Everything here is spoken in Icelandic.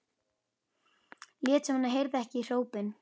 Lét sem hann heyrði ekki hrópin.